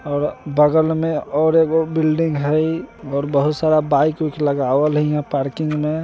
और बगल मे और एगो बिलडिंग हई और बहुत सारा बाइक उइक लगावल हई हियां पार्किंग में |